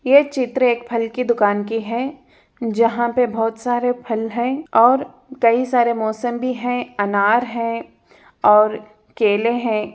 ये चित्र एक फल की दुकान की है जहां पर बोहत सारे फल है और कई सारे मोसम्बी है अनार है और केले है।